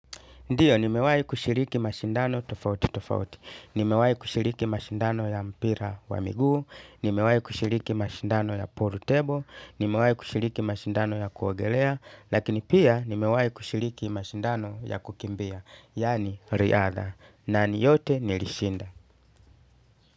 Ndiyo, nimewai kushiriki mashindano tofauti tofauti. Nimewai kushiriki mashindano ya mpira wa miguu. Nimewai kushiriki mashindano ya pool table. Nimewai kushiriki mashindano ya kuogelea. Lakini pia, nimewai kushiriki mashindano ya kukimbia. Yani, riadha. Na ni yote nilishinda.